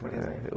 Por exemplo?